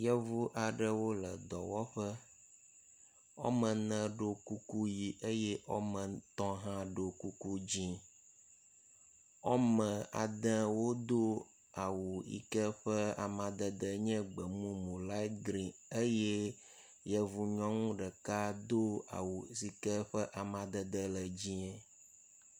Yevu aɖewo le dɔwɔƒe. Woame ne ɖo kuku ʋi eye woame tɔ̃ hã ɖo kuku dzɛ̃. Woame ade wodo awu yi ke ƒe amadede nye gbemumu lait grini eye yevu nyɔnu do awu aɖe ƒe amadede le dzẽe.